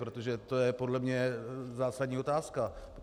Protože to je podle mě zásadní otázka.